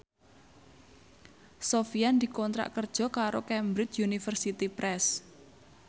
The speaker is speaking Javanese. Sofyan dikontrak kerja karo Cambridge Universiy Press